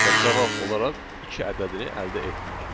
Və cavab olaraq iki ədədini əldə etdik.